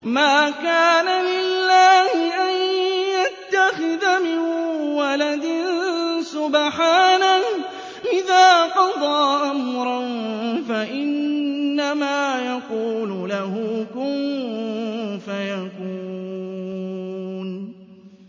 مَا كَانَ لِلَّهِ أَن يَتَّخِذَ مِن وَلَدٍ ۖ سُبْحَانَهُ ۚ إِذَا قَضَىٰ أَمْرًا فَإِنَّمَا يَقُولُ لَهُ كُن فَيَكُونُ